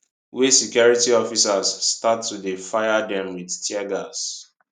wey security officers start to dey fire dem wit tear gas